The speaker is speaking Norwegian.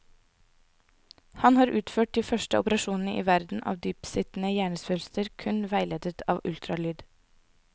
Han har utført de første operasjoner i verden av dyptsittende hjernesvulster kun veiledet av ultralyd.